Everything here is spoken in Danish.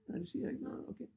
Nej det siger ikke noget okay